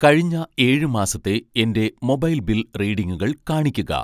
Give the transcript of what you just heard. കഴിഞ്ഞ 7 മാസത്തെ എൻ്റെ മൊബൈൽ ബിൽ റീഡിംഗുകൾ കാണിക്കുക.